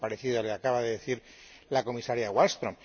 Algo parecido le acaba de decir la Comisaria Wallström